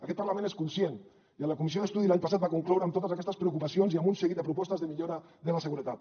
aquest parlament n’és conscient i la comissió d’estudi de l’any passat va concloure amb totes aquestes preocupacions i amb un seguit de propostes de millora de la seguretat